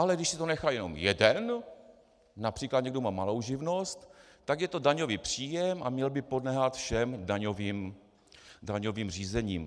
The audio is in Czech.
Ale když si to nechá jenom jeden, například někdo má malou živnost, tak je to daňový příjem a mělo by podléhat všem daňovým řízením.